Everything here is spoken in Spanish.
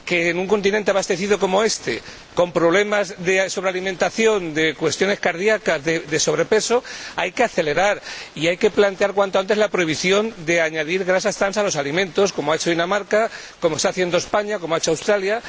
Que, en un continente abastecido como este, con problemas de sobrealimentación, de cuestiones cardiacas y de sobrepeso, hay que acelerar y hay que plantear cuanto antes la prohibición de añadir grasas trans a los alimentos, como ha hecho Dinamarca, como está haciendo España y como ha hecho Australia.